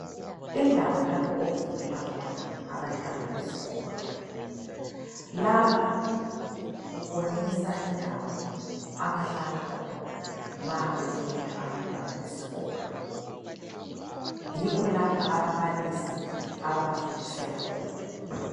Indawo lapho okufundela khona abantwana besikolo lapha kubonisa indawo abahlala khona ma befunda abantwana besikolo. Yikho lapha ababalisi ababafundisela khona.